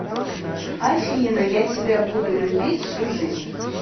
афина я тебя буду любить всю жизнь